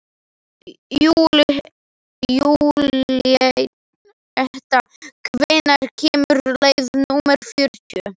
Júlíetta, hvenær kemur leið númer fjörutíu?